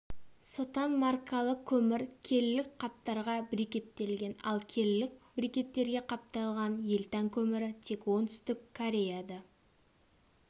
сотан маркалы көмір келілік қаптарға брикеттелген ал келілік брикеттерге қапталған елтан көмірі тек оңтүстік кореяда